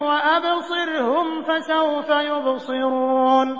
وَأَبْصِرْهُمْ فَسَوْفَ يُبْصِرُونَ